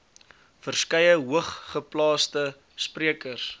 verskeie hoogeplaasde sprekers